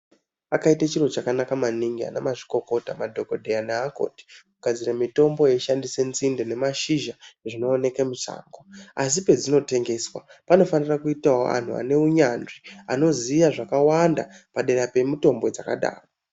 Akaite chiro chakanaka maningi ana mazvikokota madhogodheya neakoti. Kugadzire mitombo yaishandisa nzinde nemashizha zvinooneke mushango. Asi pedzinotengeswa panofanira kuitavo antu ane unyanzvi anoziya zvakawanda padera pemitombo dzakadaro.